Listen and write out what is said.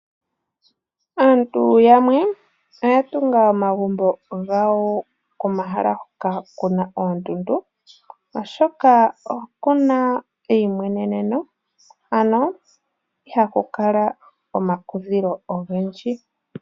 Aantu yamwe oya tunga omagumbo gawo komahala hoka kuna oondundu oshoka okuna eyi mweneneno ihaku kala omakudhilo ogendji.